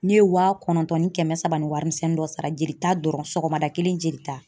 Ne ye waa kɔnɔntɔn ni kɛmɛ saba ni wari misɛnnin dɔ sara jeli ta dɔrɔn, sɔgɔmada kelen jelita.